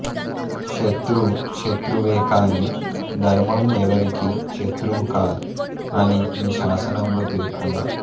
శతృవు శతృవేకానీ ధర్మం ఎవరికీ శతృవు కాదు అని ఈ శాసనంలో పేర్కొన్నారు